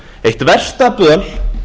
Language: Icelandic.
eitt versta böl